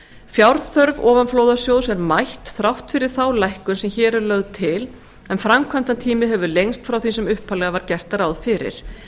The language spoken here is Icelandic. fjárþörf ofanflóðasjóðs er mætt þrátt fyrir þá lækkun sem hér er lögð til en framkvæmdartími hefur lengst frá því sem upphaflega var gert ráð fyrir